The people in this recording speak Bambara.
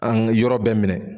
An ka yɔrɔ bɛ minɛ.